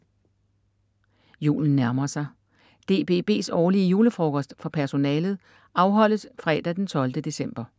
Julen nærmer sig. DBB's årlige julefrokost for personalet afholdes fredag d. 12. december.